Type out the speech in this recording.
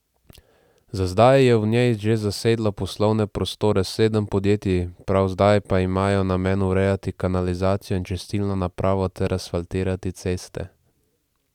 Za zdaj je v njej že zasedlo poslovne prostore sedem podjetij, prav zdaj pa imajo namen urejati kanalizacijo in čistilno napravo ter asfaltirati ceste.